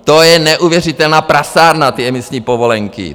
To je neuvěřitelná prasárna, ty emisní povolenky.